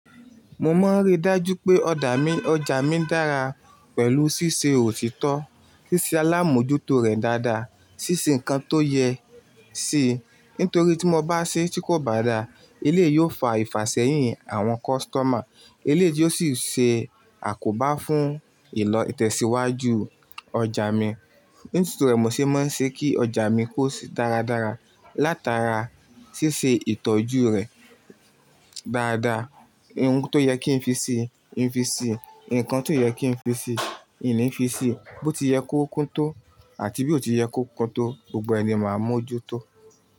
Mo máa ń rí dájú pé ọjà mi dára pẹ̀lú síse òtítọ́, ṣíṣe alámójútó rẹ̀ dáadáa, ṣíṣe nǹkan tó yẹ ṣe. Nítorí tí mo bá ṣe tí kò bá dára, eléyìí yóò fa ìfàsẹ́yìn àwọn customer, eléyìí yóò ti o sì ṣe àkóbá fún ìlọ̀ itẹ̀síwájú ọjà mi. Nítorí rẹ̀, mo ṣe máa ń ṣe kí ọjà mi kó se dáradára, látara ṣíṣe ìtọ́jú rẹ̀ dáadáa. Ohun tó yẹ kí n fi si, ì fi si, ǹkan tí ò yẹ kí n fi si, in ní fi si. Bó ti yẹ kó kúnto àti bí ò ti yẹ kó kúnto, gbogbo ẹ ni máa mójú tó.